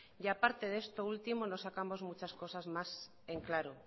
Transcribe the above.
y aparte de esto último no sacamos muchas cosas más en claro